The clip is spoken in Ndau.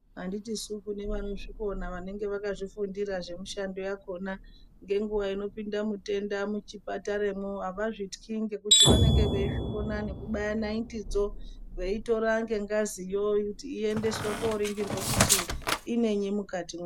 Handitisu kune vanozvikona vanenge vakafundira zvemushando yakona. Ngenguva inopinda mutenda muchipataramwo havazvityi ngekuti venenge veizvikona nekubaya nayitidzo veitora ngengaziyo kuti iendeswe kooningirwa kuti inenyi mukatimwo.